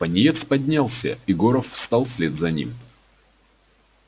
пониетс поднялся и горов встал вслед за ним